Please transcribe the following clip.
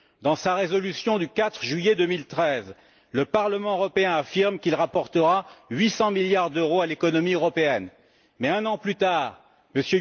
Dans sa résolution du 4 juillet 2013, le Parlement européen affirme qu'il rapportera 800 milliards d'euros à l'économie européenne mais un an plus tard, M.